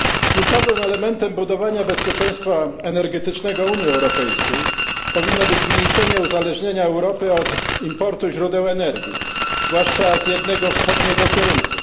Kluczowym elementem budowania bezpieczeństwa energetycznego Unii Europejskiej powinno być zmniejszenie uzależnienia Europy od importu źródeł energii, zwłaszcza z jednego wschodniego kierunku.